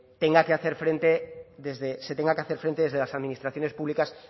tenga que hacer frente desde se tenga que hacer frente desde las administraciones públicas